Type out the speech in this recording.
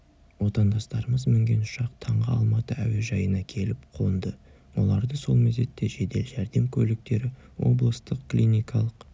отандастарымыз мінген ұшақ таңғы алматы әуежайына келіп қонды оларды сол мезетте жедел жәрдем көліктері облыстық клиникалық